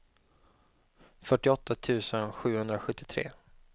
fyrtioåtta tusen sjuhundrasjuttiotre